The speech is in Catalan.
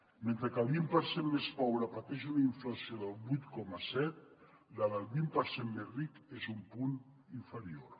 mentre que el vint per cent més pobre pateix una inflació del vuit coma set la del vint per cent més ric és un punt inferior